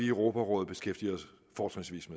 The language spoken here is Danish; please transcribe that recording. europarådets fortrinsvis